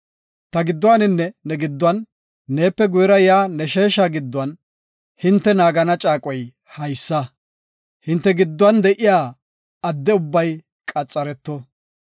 Ta gidduwaninne ne gidduwan, neepe guyera yaa ne sheesha giddon hinte naagana caaqoy haysa; hinte gidduwan de7iya adde ubbay qaxareto.